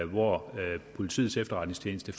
hvor politiets efterretningstjeneste